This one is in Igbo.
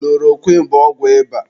Kulorokwịn bụ ọgwụ ịba.